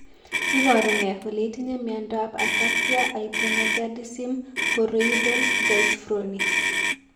Iporu ne kole itinye miondap Ataxia hypogonadism choroidal dystrophy?